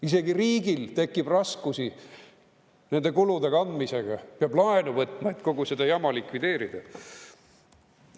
Isegi riigil tekib raskusi nende kulude kandmisega, peab laenu võtma, et kogu seda jama likvideerida.